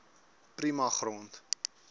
prima grond